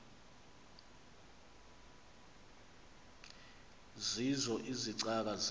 zeezo izicaka zeza